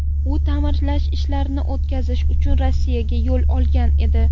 U ta’mirlash ishlarini o‘tkazish uchun Rossiyaga yo‘l olgan edi.